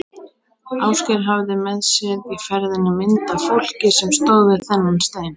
Ásgeir hafði með sér í ferðinni mynd af fólki sem stóð við þennan stein.